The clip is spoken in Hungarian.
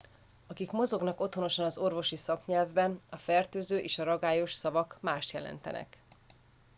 akik mozognak otthonosan az orvosi szaknyelvben a fertőző és a ragályos szavak mást jelentenek